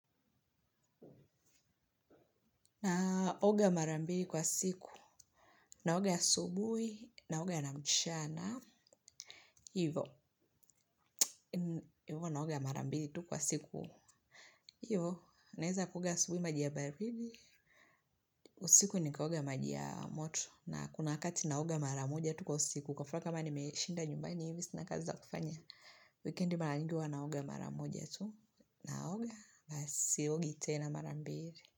Naoga mara mbili kwa siku. Naoga asubuhi, naoga na mchana, hivyo. Hivyo naoga mara mbili tu kwa siku. Hivyo naweza kuoga asubuhi maji ya baridi, usiku nikaoga maji ya moto. Na kuna wakati naoga mara moja tu kwa siku. Kwa mfano kama nimeshinda nyumbani hivi, sina kazi za kufanya. Wikendi mara nyingi huwa naoga mara moja tu. Naoga, basi siogi tena mara mbili.